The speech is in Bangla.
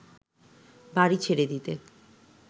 বাড়ি ছেড়ে দিতে